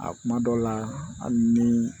A kuma dɔw la hali ni